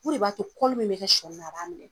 O de b'a to min bɛ kɛ sɔni na a b'a minɛ.